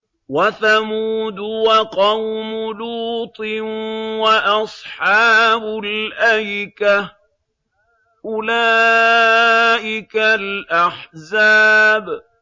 وَثَمُودُ وَقَوْمُ لُوطٍ وَأَصْحَابُ الْأَيْكَةِ ۚ أُولَٰئِكَ الْأَحْزَابُ